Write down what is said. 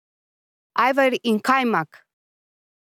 Ajvar in kajmak!